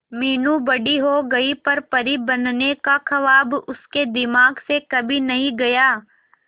मीनू बड़ी हो गई पर परी बनने का ख्वाब उसके दिमाग से कभी नहीं गया